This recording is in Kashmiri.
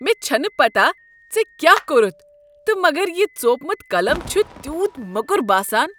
مےٚ چھنہٕ پتہ ژےٚ کیٛاہ کوٚرتھ تہٕ مگر یہ ژوپمت قلم چھ تیتھ موٚکُر باسان۔